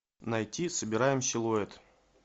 найти собираем силуэт